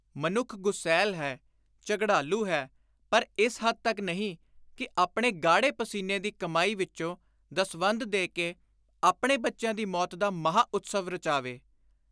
ਮਨੁੱਖ ਗ਼ੁਸੈਲ ਹੈ, ਝਗੜਾਲੂ ਹੈ ਪਰ ਇਸ ਹੱਦ ਤਕ ਨਹੀਂ ਕਿ ਆਪਣੇ ਗਾਹੜੇ ਪਸੀਨੇ ਦੀ ਕਮਾਈ ਵਿਚੋਂ ਦਸਵੰਧ ਦੇ ਕੇ ਆਪਣੇ ਬੱਚਿਆਂ ਦੀ ਮੌਤ ਦਾ ਮਹਾਂ-ਉਤਸਵ ਰਚਾਵੇ।